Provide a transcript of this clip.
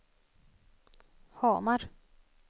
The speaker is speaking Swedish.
Hamar